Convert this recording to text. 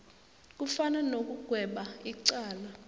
kufana nokugweba icala